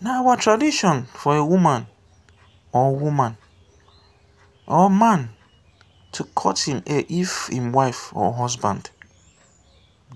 na man wey get male child be de full flegde man for igbo land. igbo